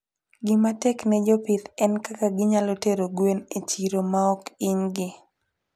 Gima tek ne jopith en kaka ginyalo tero gwen e chiro maok hinygi.